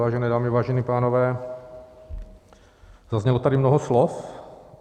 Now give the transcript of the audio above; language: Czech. Vážené dámy, vážení pánové, zaznělo tady mnoho slov.